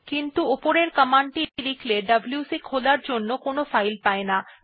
কিন্তু উপরের কমান্ড টি লিখলে ডব্লিউসি খোলার জন্য কোনো ফাইল পায়না